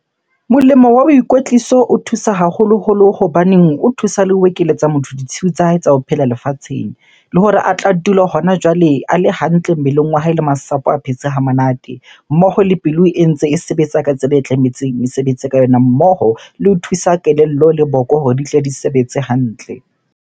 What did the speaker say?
Molemo wa boikwetliso o thusa haholoholo hobaneng o thusa le ho ekeletsa motho ditshiu tsa hae tsa ho phela lefatsheng. Le hore a tla dule hona jwale a le hantle mmeleng wa hae le masapo a phetse ha monate. Mmoho le pelo e ntse e sebetsa ka tsela e tlametseng mesebetsi ka yona, mmoho le ho thusa kelello le boko hore di tle di sebetse hantle.